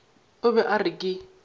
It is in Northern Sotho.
o be a re ke